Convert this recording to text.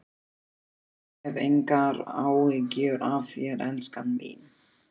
Ég hef engar áhyggjur af þér, elskan mín.